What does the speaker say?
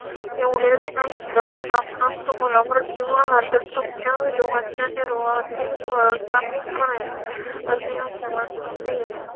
एवढेच नाही तर नामांतर मुला मृत्यू आला तर तर तुमच्या विनोदाच्या निर्वाहाचे व्यवस्था मी करेन असे यशवंत श्री